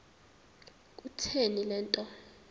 kutheni le nto